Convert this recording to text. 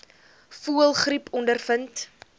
voëlgriep ondervind